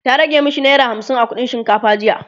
ta rage mashi naira hamsin a kuɗin shinkafa jiya